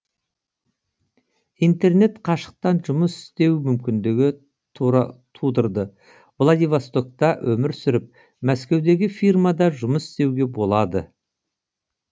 интернет қашықтан жұмыс істеу мүмкіндігін тудырды владивастокта өмір сүріп мәскеудегі фирмада жұмыс істеуге болады